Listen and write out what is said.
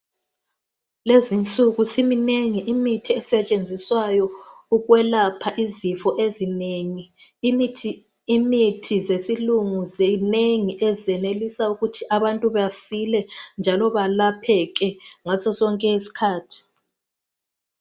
Lezinsuku siminengi imithi esetshenziswayo ukwelapha izifo ezinengi. Imithi yesilungu zinengi ezincedisa ukuthi abantu basile njalo balapheke ngasosonke isikhathi.